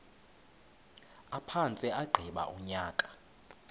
aphantse agqiba unyaka